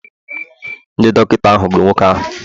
Ndị dọkịta ahụ gburu nwoke ahụ